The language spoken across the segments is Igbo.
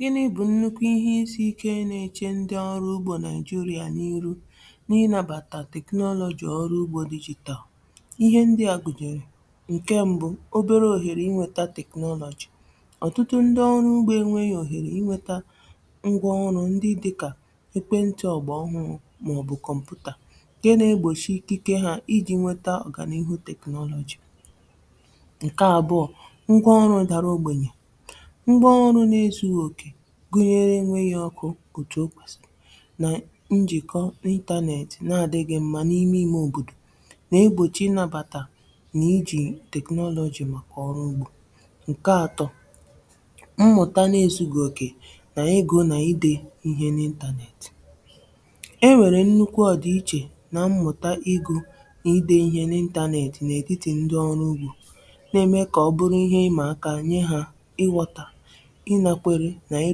Gịnị bụ̀ nnukwu ihe isi̇ ike nȧ-ėche ǹdị ọrụ ugbȯ Naịjirịa n’iru n’inabàtà technology ọrụ ugbȯ digital. Ihe ndị à gụ̀nyèrè: Nke mbụ, obere òhèrè i nwėtȧ technology: ọ̀tụtụ ndị ọrụ ugbȯ enweghi̇ òhèrè inwėtȧ ngwa ọrụ ǹdị dị kà ekwentị ọ̀gbà ọhụrụ̇ mà ọ̀ bụ̀ kọ̀mpụ̀tà ǹkẹ̀ nà-egbòchi ikike ha i ji̇ nweta ọ̀gà n’iihu technology. Nke abụọ́, ngw'ọrụ dàrà ogbènyè: ngw'ọrụ na-ezughi oke gụnyere enwẹghi ọkụ̇ otu o kwèsịrị nà njị̀kọ internet na-adịghị mma n’ime ime òbòdò nà egbòchi ị nàbàtà nà i ji technology màkà ọrụ ugbȯ. Nke atọ, mmụ̀ta n’ezughi oke nà egȯ nà ide ihe n' internet: e nwèrè nnukwu ọdịichė nà mmụ̀ta ị gụ̇ nà idẹ ihe n’ internet n'etiti ndị ọrụ ugbȯ, nà ẹmẹ kà ọ bụrụ ihe ị mà aka nyẹ hȧ ị ghọta, ị nakwere nà i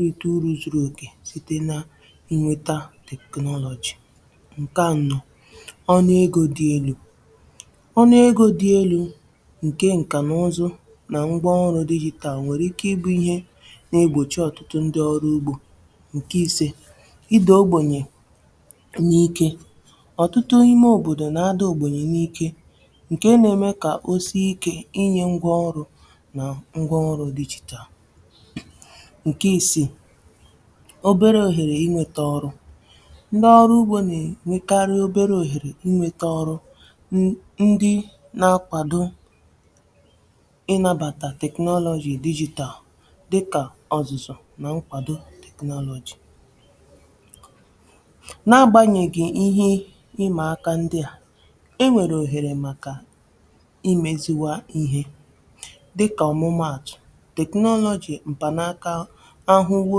rite uru zụrụ ogè site nà ǹwẹta technology. Nke anọ, ọnụ egȯ dị elu̇: ọnụ egȯ dị elu̇ ǹkẹ̀ ǹkà nà ụzụ nà ngwa ọrụ digital nwẹ̀rẹ̀ ike ịbụ̇ ihe nà egbòchi ọ̀tụtụ ǹdị ọrụ ugbȯ Nke ise, ị dȧ ògbènyè n’ike: ọ̀tụtụ ime òbòdò nà-ada ogbènyè n’ike ǹkẹ̀ nà ẹmẹ kà o sie ike i nyė ngwa ọrụ nà ngwa ọrụ digital. Nke isii, obere òhèrè i nwėtȧ ọrụ: ǹdị ọrụ ugbȯ nà-ènwèkarị obere òhèrè i nwėtȧ ọrụ n ndị na-akwàdo ị nàbàtà technology digital dịkà ọ̀zụ̀zụ̀ na ǹkwàdo technology. na-agbànyèghì ihe ịmà aka ǹdị a, enwèrè òhèrè màkà i mėziwa ihe dịkà ọ̀mụmaatụ̀, technology mpanaka nnukwu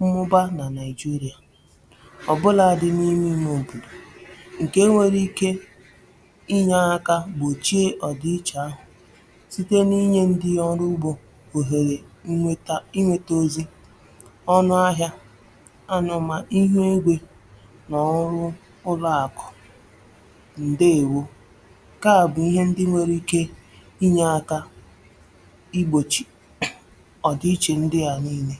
mmụba nà Naịjirịà, ọ̀bụlȧdị̇ n’ime ime òbòdò ǹkè nwere ike inyė aka gbòchie ọ̀dị ichė ahụ̀ site n’inyė ǹdị ọrụ ugbȯ òhèrè nnweta i nweta ozi̇, ọnụ ahịȧ ọnụmà ihe nri nà ọrụ ụlọ̇ àkụ. Ndèewȯ nkea bụ̀ ihe ndị nwere ike inyė aka i gbochi ọdịiche ndị a niile.